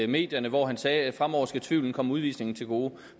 medierne hvor han sagde at fremover skal tvivlen komme udvisningen til gode